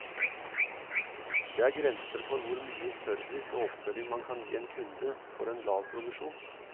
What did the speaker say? Det er grenser for hvor mye service og oppfølging man kan gi en kunde for en lav provisjon.